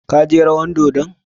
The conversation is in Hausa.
Ka je rawan dodon?